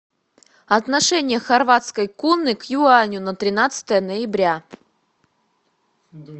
отношение хорватской куны к юаню на тринадцатое ноября